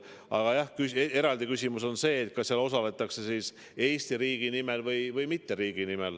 Aga jah, eraldi küsimus on see, kas seal osaletakse Eesti riigi nimel või mitte.